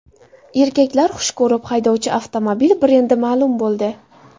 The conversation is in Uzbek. Erkaklar xush ko‘rib haydovchi avtomobil brendi ma’lum bo‘ldi.